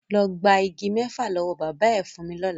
Lọ gba igi mẹ́fà lọ́wọ́ bàbá ẹ fún mi lọ́la!